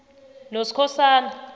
noskhosana